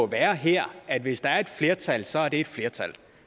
være her at hvis der er et flertal så er det et flertal